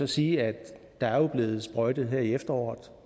sige at der er blevet sprøjtet her i efteråret